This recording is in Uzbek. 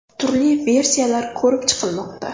Turli versiyalar ko‘rib chiqilmoqda.